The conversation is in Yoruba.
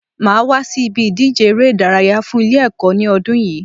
Màá wá sí ibi ìdíje eré ìdárayá fun Ilé èkó ní odún yìí